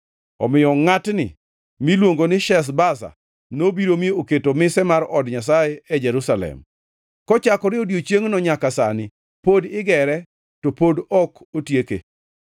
Omiyo ngʼatni miluongo ni Sheshbaza nobiro mi oketo mise mar od Nyasaye e Jerusalem. Kochakore e odiechiengno nyaka sani pod igere to pod ok otieke.